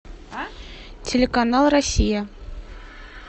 телеканал россия